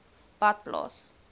badplaas